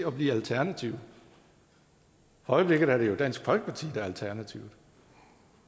at blive alternative for øjeblikket er det jo dansk folkeparti der er alternative